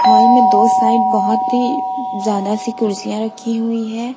Hall में दो side बहोत ही ज्यादा सी कुर्सियाँ रखी हुई हैं।